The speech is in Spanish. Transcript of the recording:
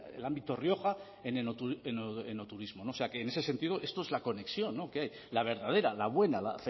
el ámbito rioja en enoturismo o sea que en ese sentido esto es la conexión que hay la verdadera la buena la